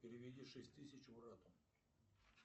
переведи шесть тысяч брату